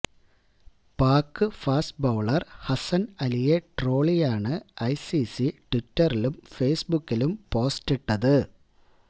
Pak fast bowler Hasan അലിയെ ട്രോളിയാണ് ICC ട്വിറ്ററിലും ഫെയ്സ്ബുക്കിലും പോസ്റ്റിട്ടത്